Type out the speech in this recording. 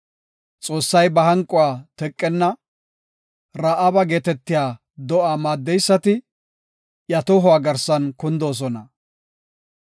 Xoossay ba hanquwa teqenna; Ra7aaba geetetiya do7a maaddeysati iya tohuwa garsan kundoosona.